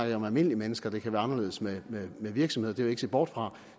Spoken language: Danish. jeg om almindelige mennesker det kan være anderledes med virksomheder det vil jeg ikke se bort fra